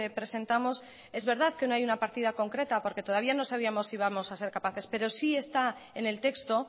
presentamos es verdad que no hay una partida concreta porque todavía no sabíamos si íbamos a ser capaces pero sí está en el texto